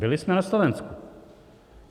Byli jsme na Slovensku.